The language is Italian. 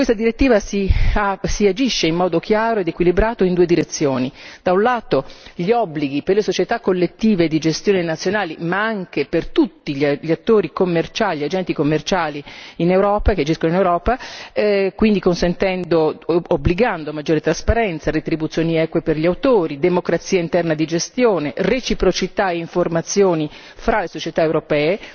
Con questa direttiva si agisce in modo chiaro ed equilibrato in due direzioni da un lato gli obblighi per le società collettive di gestione nazionali, ma anche per tutti gli agenti commerciali che agiscono in Europa, quindi consentendo e obbligando maggiore trasparenza, retribuzioni eque per gli autori, democrazia interna di gestione, reciprocità e informazioni fra le società europee